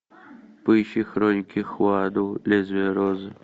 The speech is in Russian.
поищи хроники хуаду лезвие розы